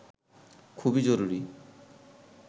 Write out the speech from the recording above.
খুবই জরুরি